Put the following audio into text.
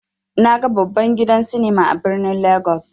Naga babban gidan sinima a birnin legas.